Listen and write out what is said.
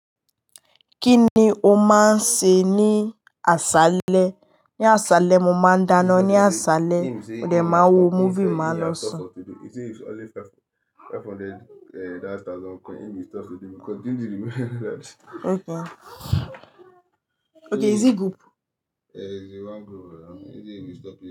Kí ni o máa ń ṣe ní aṣálẹ́? Ní aṣálẹ́ mo máa ń dáná, ní aṣálẹ́ m'òde máa wo múvì, màá lo sùn. Okay. Okay, is it group? Eh, it's a one group.